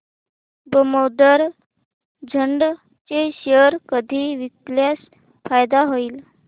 दामोदर इंड चे शेअर कधी विकल्यास फायदा होईल